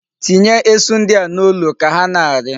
Tinye esu ndi a n'olu ka ha na-ari.